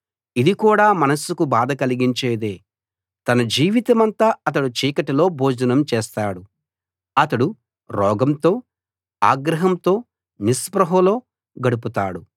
ఇది కూడా మనస్సుకు బాధ కలిగించేదే తన జీవితమంతా అతడు చీకటిలో భోజనం చేస్తాడు అతడు రోగంతో ఆగ్రహంతో నిస్పృహలో గడుపుతాడు